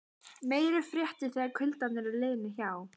Meiri fréttir þegar kuldarnir eru liðnir hjá.